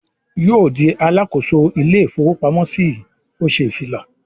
"Yóò di alákòóso ilé-ìfowópamọ́sí yìí!" Ó ṣè ìfilọ.